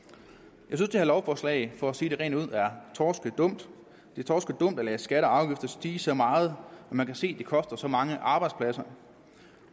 jeg at lovforslag for sige det rent ud er torskedumt det er torskedumt at lade skatter og afgifter stige så meget når man kan se at det koster så mange arbejdspladser